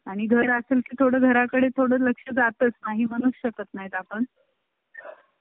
आणि घरासन के थोडे घराकडे थोडं लक्ष जाताच नाही, होऊशकत नाही आपण